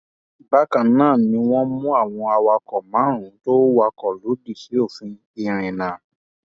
bákan náà ni wọn mú àwọn awakọ márùnún tó wakọ lòdì sí òfin ìrìnnà